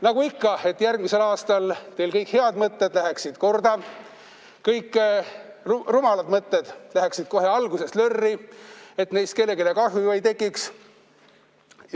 Nagu ikka, et järgmisel aastal teil kõik head mõtted läheksid korda, kõik rumalad mõtted läheksid kohe alguses lörri, et neist kellelegi kahju ei tekiks!